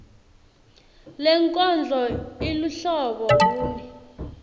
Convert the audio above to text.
lenkondlo iluhlobo luni